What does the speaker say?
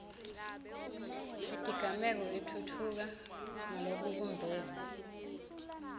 yetigameko itfutfuka ngalokubumbene